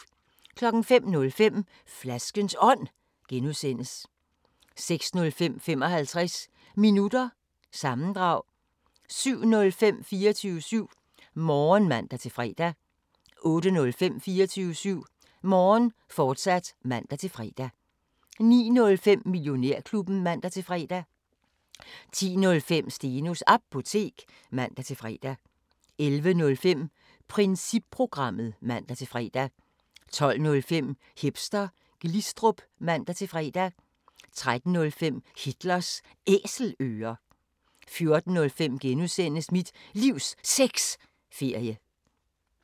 05:05: Flaskens Ånd (G) 06:05: 55 Minutter – sammendrag 07:05: 24syv Morgen (man-fre) 08:05: 24syv Morgen, fortsat (man-fre) 09:05: Millionærklubben (man-fre) 10:05: Stenos Apotek (man-fre) 11:05: Principprogrammet (man-fre) 12:05: Hipster Glistrup (man-fre) 13:05: Hitlers Æselører 14:05: Mit Livs Sexferie (G)